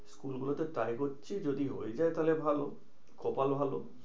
School গুলোতে try করছি যদি হয়ে যায় তাহলে ভালো। কপাল ভালো।